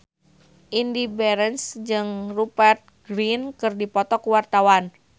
Indy Barens jeung Rupert Grin keur dipoto ku wartawan